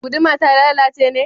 Guduma ta lalace ne?